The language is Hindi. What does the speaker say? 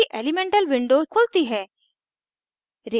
इसकी elemental window खुलती है